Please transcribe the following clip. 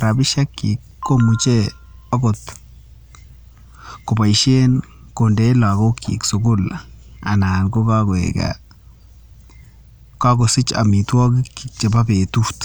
rabishek chik akomuche okot kobaishen kondeyenblagok chik sukul anan kokakoik ana kosich amitwakik chebo betut